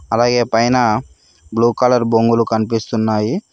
అలాగే పైన blue colour బొంగులు కనిపిస్తున్నాయి.